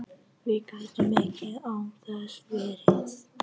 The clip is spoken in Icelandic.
Við gætum ekki án þess verið